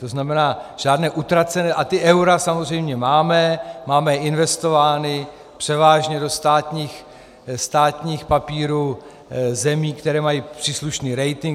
To znamená, žádné utracené, a ta eura samozřejmě máme, máme investována převážně do státních papírů zemí, které mají příslušný rating.